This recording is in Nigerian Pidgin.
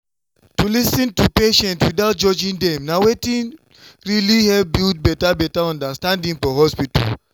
to lis ten to patients without judging dem na wetin really help build better better understanding for hospital.